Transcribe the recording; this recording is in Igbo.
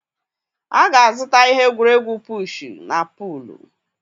A ga-azụta ihe egwuregwu pushuu na puluu.